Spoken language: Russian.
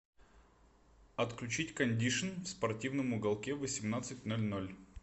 отключить кондишн в спортивном уголке в восемнадцать ноль ноль